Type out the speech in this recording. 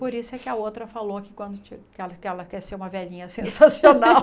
Por isso é que a outra falou que quando que ela que ela quer ser uma velhinha sensacional.